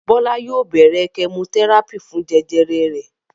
Bọlá yóò bẹ̀rẹ̀ kẹmotẹ́rápì fún jẹjẹrẹ rẹ̀.